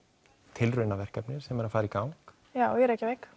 tilraunaverkefni sem er að fara í gang já í Reykjavík